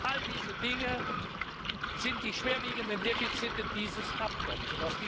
All diese Dinge sind die schwerwiegenden Defizite dieses Abkommens.